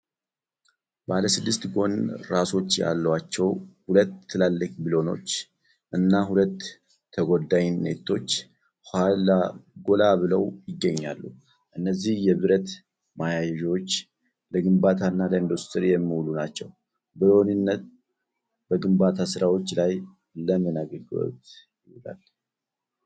ባለ ስድስት ጎን ራሶች ያሏቸው ሁለት ትላልቅ ብሎኖች (bolts) እና ሁለት ተጓዳኝ ነቶች (nuts) ጎላ ብለው ይገኛሉ። እነዚህ የብረት ማያያዣዎች ለግንባታና ለኢንዱስትሪ የሚውሉ ናቸው። ብሎንና ነት በግንባታ ሥራዎች ላይ ለምን አገልግሎት ይውላሉ?